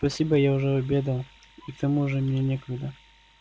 спасибо я уже обедал и к тому же мне некогда